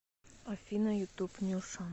афина ютуб нюша